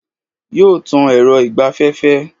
Yóò tan èrọ ìgbaféfé